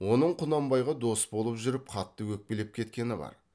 оның құнанбайға дос боп жүріп қатты өкпелеп кеткені бар